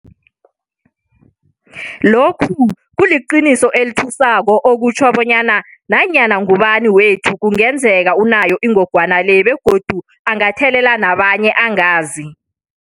Lokhu kuliqiniso elithusako okutjho bonyana nanyana ngubani wethu kungenzeka unayo ingogwana le begodu angathelela nabanye angazi.